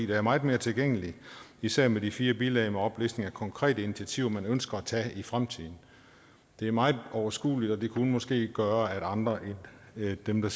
der er meget mere tilgængelig især med de fire bilag med oplistning af konkrete initiativer som man ønsker at tage i fremtiden det er meget overskueligt og det kunne måske gøre at andre end dem der